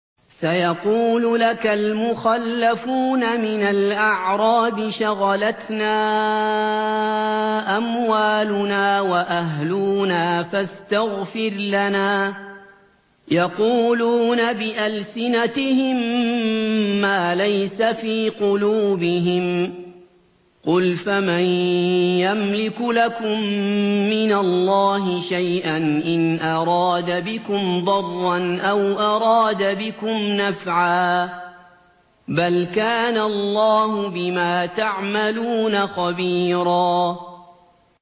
سَيَقُولُ لَكَ الْمُخَلَّفُونَ مِنَ الْأَعْرَابِ شَغَلَتْنَا أَمْوَالُنَا وَأَهْلُونَا فَاسْتَغْفِرْ لَنَا ۚ يَقُولُونَ بِأَلْسِنَتِهِم مَّا لَيْسَ فِي قُلُوبِهِمْ ۚ قُلْ فَمَن يَمْلِكُ لَكُم مِّنَ اللَّهِ شَيْئًا إِنْ أَرَادَ بِكُمْ ضَرًّا أَوْ أَرَادَ بِكُمْ نَفْعًا ۚ بَلْ كَانَ اللَّهُ بِمَا تَعْمَلُونَ خَبِيرًا